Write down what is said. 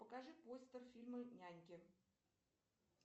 покажи постер фильма няньки